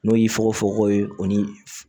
N'o y'i fokofokoko ye o ni